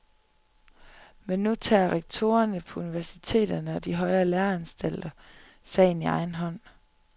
Men nu tager rektorerne på universiteterne og de højere læreanstalter sagen i egen hånd.